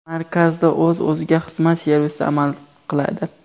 Markazda o‘z-o‘ziga xizmat servisi amal qiladi.